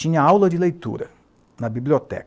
Tinha aula de leitura na biblioteca.